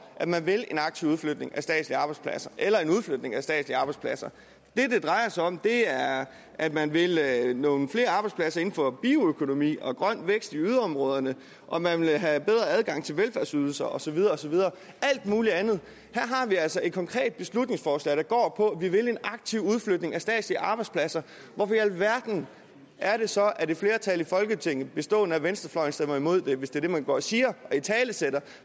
at man vil en aktiv udflytning af statslige arbejdspladser eller en udflytning af statslige arbejdspladser det det drejer sig om er at man vil have nogle flere arbejdspladser inden for bioøkonomi og grøn vækst i yderområderne og man vil have bedre adgang til velfærdsydelser og så videre og så videre alt mulig andet her har vi altså et konkret beslutningsforslag der går på at vi vil en aktiv udflytning af statslige arbejdspladser hvorfor i alverden er det så at et flertal i folketinget bestående af venstrefløjen stemmer imod det hvis det er det man går og siger og italesætter